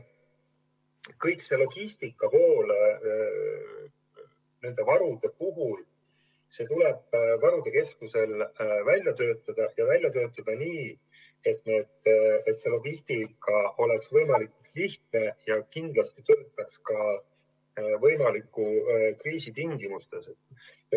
Kogu see logistika nende varude puhul tuleb varude keskusel välja töötada, ja välja töötada nii, et logistika oleks võimalikult lihtne ja kindlasti töötaks ka kriisi tingimustes.